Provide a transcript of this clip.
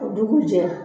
O dugujɛ